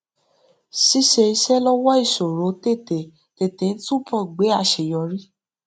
ṣíṣe iṣé lówó isòro tetetete ń túbò gbé aṣeyọrí